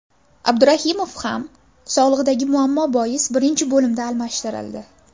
Abdurahimov ham sog‘lig‘idagi muammo bois birinchi bo‘limda almashtirildi.